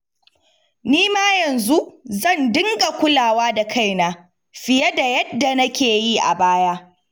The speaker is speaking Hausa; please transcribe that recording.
Ni ma yanzu zan dinga kulawa da kaina fiye da yadda nake yi a baya